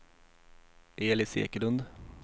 Elis Ekelund